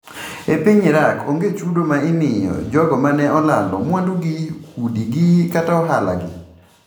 E piny Iraq onge chudo ma imiyo jogo ma ne olalo mwandugi, udigi kata ohalagi.